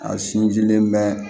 A sinjilen bɛ